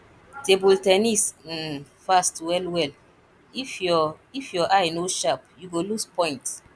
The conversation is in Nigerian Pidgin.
table ten nis um fast wellwell if your if your eye no sharp you go lose point